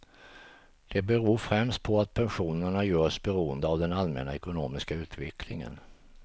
Det beror främst på att pensionerna görs beroende av den allmänna ekonomiska utvecklingen.